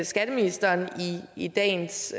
skatteministeren i dagens